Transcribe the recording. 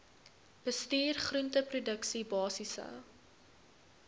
bestuur groenteproduksie basiese